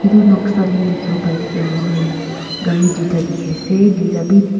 etu noksa te dikhiwo pai thakia moikhan gari duita dikhi ase duita bi.